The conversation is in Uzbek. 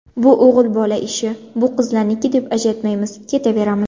Bu o‘g‘il bola ishi, bu qizlarniki deb ajratmaymiz, ketaveramiz.